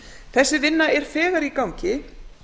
þessi vinna er þegar í gangi